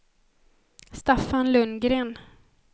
Staffan Lundgren